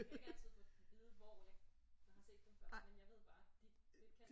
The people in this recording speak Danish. Jeg kan ikke altid få dem vide hvor jeg har set dem før men jeg ved bare at det de er kendte